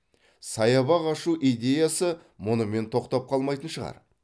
саябақ ашу идеясы мұнымен тоқтап қалмайтын шығар